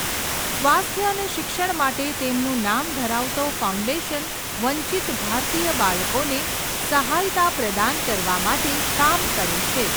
સ્વાસ્થ્ય અને શિક્ષણ માટે તેમનું નામ ધરાવતો ફાઉન્ડેશન વંચિત ભારતીય બાળકોને સહાયતા પ્રદાન કરવા માટે કામ કરે છે.